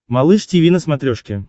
малыш тиви на смотрешке